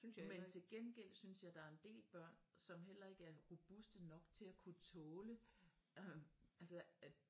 Men til gengæld synes jeg der er en del børn som heller ikke er robuste nok til og kunne tåle øh altså at